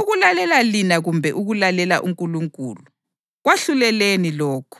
ukulalela lina kumbe ukulalela uNkulunkulu? Kwahluleleni lokho.